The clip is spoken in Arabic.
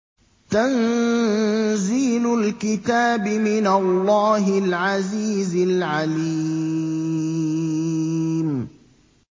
تَنزِيلُ الْكِتَابِ مِنَ اللَّهِ الْعَزِيزِ الْعَلِيمِ